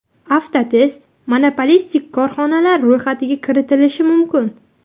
Avtotest monopolist korxonalar ro‘yxatiga kiritilishi mumkin.